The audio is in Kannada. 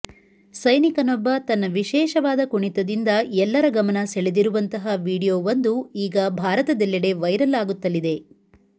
ಸೈನಿಕನೊಬ್ಬ ತನ್ನ ವಿಶೇಷವಾದ ಕುಣಿತದಿಂದ ಎಲ್ಲರ ಗಮನ ಸೆಳೆದಿರುವಂತಹ ವಿಡಿಯೋ ಒಂದು ಈಗ ಭಾರತದೆಲ್ಲೆಡೆ ವೈರಲ್ ಆಗುತ್ತಲಿದೆ